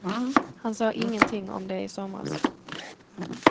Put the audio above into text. Han sa ingenting om det i somras.